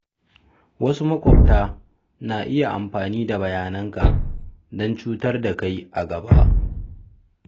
Wasu maƙwabta na iya amfani da bayananka don cutar da kai a gaba.